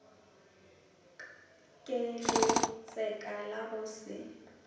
ke letseka la go se